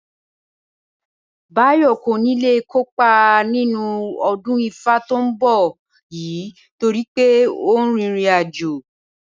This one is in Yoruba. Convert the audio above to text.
Báyò̩ kò ní lè kópa nínú o̩dún ifá tí ó ń bò̩ yìí torí pé ó ń rin ìrìnàjò